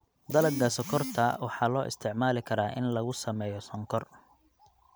Dalagga sonkorta waxaa loo isticmaali karaa in lagu sameeyo sonkor.